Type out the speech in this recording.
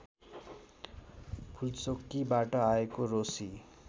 फुलचोकीबाट आएको रोसी